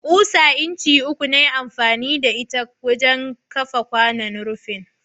Ƙusa incin uku na yi amfani da ita wurin kafa kwanon rufin.